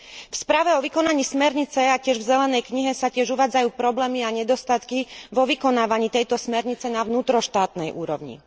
V správe o vykonaní smernice a tiež v zelenej knihe sa tiež uvádzajú problémy a nedostatky vo vykonávaní tejto smernice na vnútroštátnej úrovni.